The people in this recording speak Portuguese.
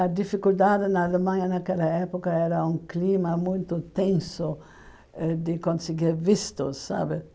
A dificuldade na Alemanha naquela época era um clima muito tenso ãh de conseguir visto, sabe?